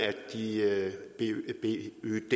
pyd